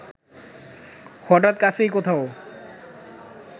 হঠাৎ কাছেই কোথাও